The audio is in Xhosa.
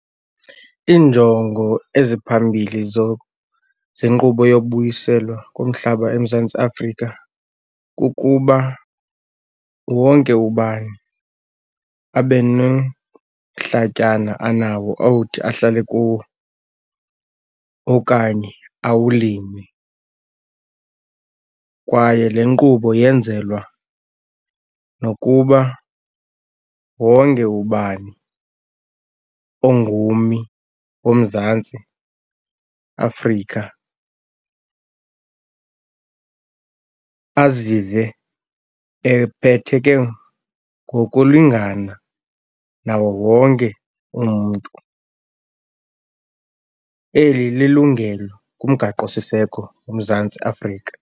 Iinjongo eziphambili zenkqubo yokubuyiselwa komhlaba eMzantsi Afrika kukuba wonke ubani abe nomhlatyana anawo awuthi ahlale kuwo okanye awulime. Kwaye le nkqubo yenzelwa nokuba wonke ubani ongummi woMzantsi Afrika azive ephetheke ngokulingana nawo wonke umntu. Eli lilungelo kuMgaqosiseko woMzantsi Afrika.